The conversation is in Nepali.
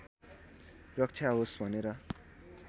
रक्षा होस् भनेर